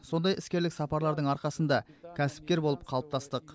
сондай іскерлік сапарлардың арқасында кәсіпкер болып қалыптастық